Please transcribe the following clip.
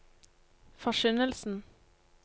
forkynnelsen